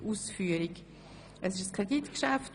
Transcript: Wir führen eine freie Debatte.